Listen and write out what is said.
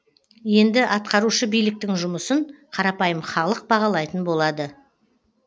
енді атқарушы биліктің жұмысын қарапайым халық бағалайтын болады